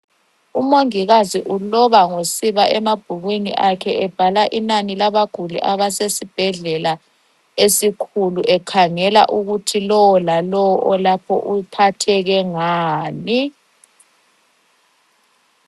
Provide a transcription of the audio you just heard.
Umongikazi uloba ngosiba emabhukwini akhe, ebhala inani labaguli abase sbhedlela esikhulu. Ekhangela ukuthi lowo lalowo olapho uphatheke ngani.